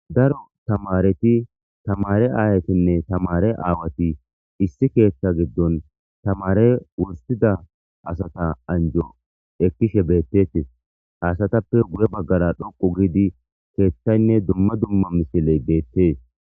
Daro tamaareti tamaare aayetinne tamaare aawati issi keetha gidon tamaare wursida asata anjo ekishe beetetes haysatappe guye baggara dhoqu gidi keethaynne dumma dumma misiley beetes.